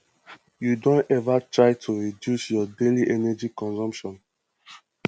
you don ever try to reduce your daily energy consumption